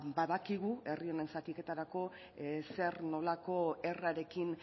badakigu herri honen zatiketarako zer nolako herrarekin